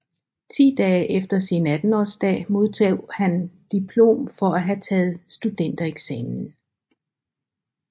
Ti dage efter sin attenårsdag modtog han diplom for at have taget studentereksamen